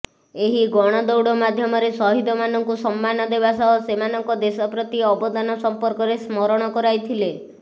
ଏହି ଗଣଦୌଡ଼ ମାଧ୍ୟମରେ ସହୀଦ ମାନଙ୍କୁ ସମ୍ମାନ ଦେବାସହ ସେମାନଙ୍କ ଦେଶ ପ୍ରତି ଅବଦାନ ସମ୍ପର୍କରେ ସ୍ମରଣ କରାଇଥିଲେ